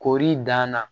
Kori dan na